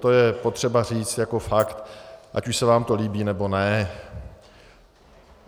To je potřeba říct jako fakt, ať už se vám to líbí, nebo ne.